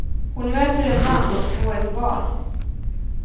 Hon möter en man och får ett barn.